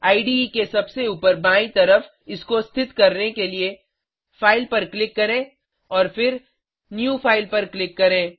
इडे के सबसे ऊपर बायीं तरफ इसको स्थित करने के लिए फाइल पर क्लिक करें और फिर न्यू फाइल पर क्लिक करें